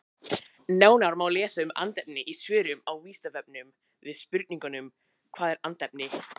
Nánar má lesa um andefni í svörum á Vísindavefnum við spurningunum Hvað er andefni?